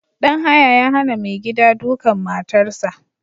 Ɗan haya ya hana mai gida duƙan matan sa